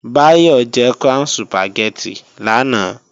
Báyọ̀ jẹ Crown Sùpàgẹ́tì lánàá